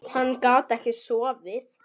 Hann gat ekki sofið.